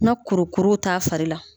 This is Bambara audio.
Na kurukuru t'a fari la.